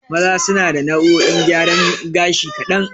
Maza suna da nau'o'in gyaran gashi kaɗan.